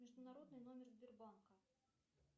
международный номер сбербанка